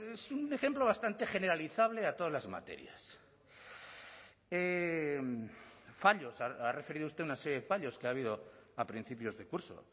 es un ejemplo bastante generalizable a todas las materias fallos ha referido usted una serie de fallos que ha habido a principios de curso